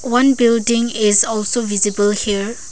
one building is also visible here.